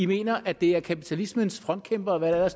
mener at det er kapitalismens frontkæmpere og hvad